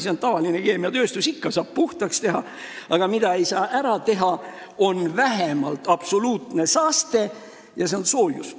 See on tavaline keemiatööstus, ikka saab jäätmed puhtaks teha, aga mida ei saa välistada, mis on absoluutne saaste, see on soojus.